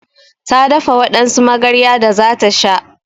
Ta dafa wadansu magarya da zata sha